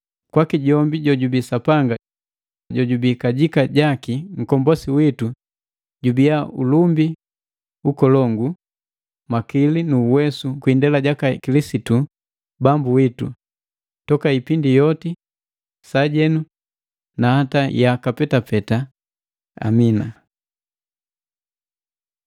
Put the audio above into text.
kwaki jombi jojubii Sapanga jojubii kajika jaki Nkombosi witu, gubia ulumbi, ukolongu, makili nu uwesu kwi indela jaka Kilisitu Bambu witu, toka ipindi yoti, sajenu na hata ya yaka petapeta! Amina.